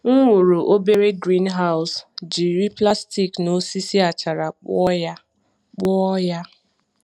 M wuru obere greenhouse jiri plastik na osisi achara kpụọ ya. kpụọ ya.